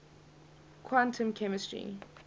quantum chemistry